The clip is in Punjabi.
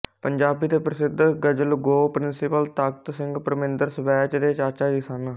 ਪੰਜਾਬੀ ਦੇ ਪ੍ਰਸਿੱਧ ਗਜ਼ਲਗੋਅ ਪ੍ਰਿੰਸੀਪਲ ਤਖਤ ਸਿੰਘ ਪਰਮਿੰਦਰ ਸਵੈਚ ਦੇ ਚਾਚਾ ਜੀ ਸਨ